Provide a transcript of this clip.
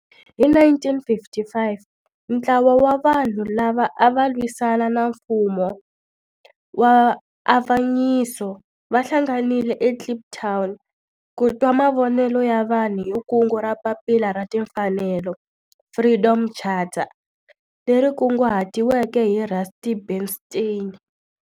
Hi 1955 ntlawa wa vanhu lava ava lwisana na nfumo wa avanyiso va hlanganile eKliptown ku twa mavonelo ya vanhu hi kungu ra Papila ra Timfanelo, Freedom Charter, leri kunguhatiweke hi Rusty Bernstein.